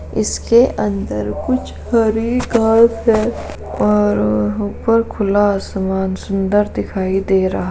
इसके अंदर कुछ हरी घास है और ऊपर खुला आसमान सुन्दर दिखाई दे रहा --